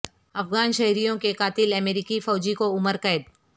افغان شہریوں کے قاتل امریکی فوجی کو عمر قید